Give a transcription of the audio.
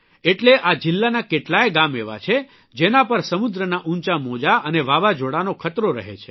એટલે આ જીલ્લાના કેટલાય ગામ એવા છે જેના પર સમુદ્રના ઉંચા મોજા અને વાવાઝોડાનો ખતરો રહે છે